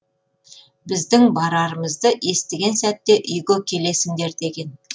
біздің барарымызды естіген сәтте үйге келесіңдер деген